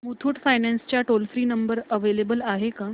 Muthoot finance चा toll free number available आहे का